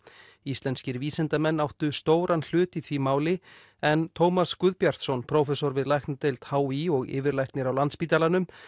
íslenskir vísindamenn áttu stóran hlut í því máli en Tómas Guðbjartsson prófessor við læknadeild h í og yfirlæknir á Landspítalanum